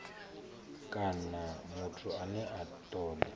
kana muthu ane a toda